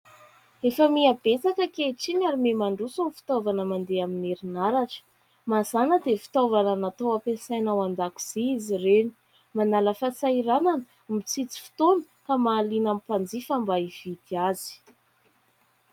Efa miha betsaka ankehitriny ary miha mandroso ny fitaovana mandeha amin'ny erinaratra. Mazàna dia fitaovana natao ampiasaina ao an-dakozia izy ireny. Manala fahasahiranana, mitsitsy fotoana ka mahaliana ny mpanjifa mba hividy azy.